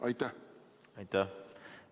Aitäh!